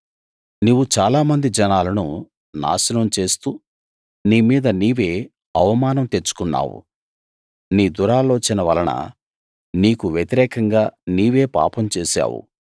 నీవు చాలా మంది జనాలను నాశనం చేస్తూ నీ మీద నీవే అవమానం తెచ్చుకున్నావు నీ దురాలోచన వలన నీకు వ్యతిరేకంగా నీవే పాపం చేశావు